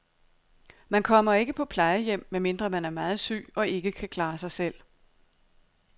Man kommer ikke på plejehjem, medmindre man er meget syg og ikke kan klare sig selv.